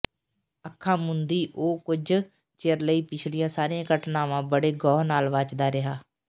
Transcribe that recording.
ਅੱਖਾਂ ਮੁੰਦੀ ਉਹ ਕੁਝ ਚਿਰ ਲਈ ਪਿਛਲੀਆਂ ਸਾਰੀਆਂ ਘਟਨਾਵਾਂ ਬੜੇ ਗੌਹ ਨਾਲ ਵਾਚਦਾ ਰਿਹਾ